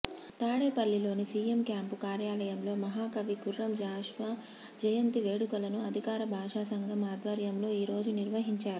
తాడేపల్లిలోని CM camp కార్యాలయంలో మహాకవి గుర్రం జాషువా జయంతి వేడుకలను అధికార భాషా సంఘం ఆధ్వర్యంలో ఈరోజు నిర్వహించారు